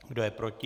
Kdo je proti?